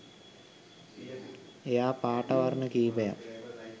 එයා පාට වර්ණ කීපයක්